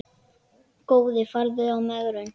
Góði farðu í megrun.